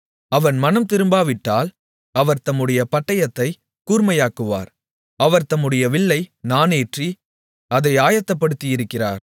அவன் மனந்திரும்பாவிட்டால் அவர் தம்முடைய பட்டயத்தைக் கூர்மையாக்குவார் அவர் தம்முடைய வில்லை நாணேற்றி அதை ஆயத்தப்படுத்தியிருக்கிறார்